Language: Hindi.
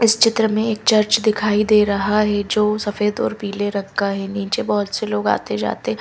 इस चित्र में एक चर्च दिखाई दे रहा है जो सफेद और पीले रंग का है नीचे बहुत से लोग आते जाते --